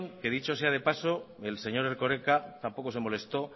que dicho sea de paso el señor erkoreka tampoco se molestó